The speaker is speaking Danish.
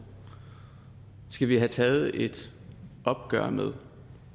skal vi have taget et opgør med